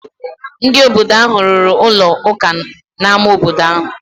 Ndị obodo ahụ rụrụ ụlọ ụka n’ámá obodo ahụ.